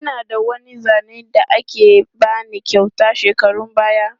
Ina da wani zane da aka ba ni kyauta shekarun baya.